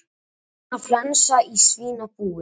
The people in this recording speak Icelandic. Svínaflensa í svínabúi